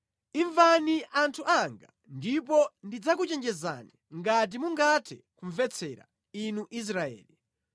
“Imvani anthu anga, ndipo ndidzakuchenjezani ngati mungathe kumvetsera, Inu Israeli!